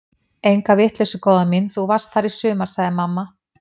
Enga vitleysu góða mín, þú varst þar í sumar sagði mamma.